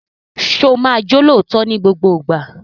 Sọ ma jẹ́ olóòótọ́ ní gbogbo ìgbà?